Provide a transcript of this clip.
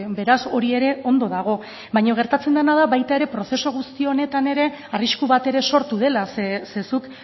beraz hori ere ondo dago baina gertatzen dena da baita ere prozesu guzti honetan ere arrisku bat ere sortu dela ze zuk